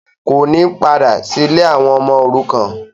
kò ní badà sí “ ilé àwọn ọmọ òrukan”.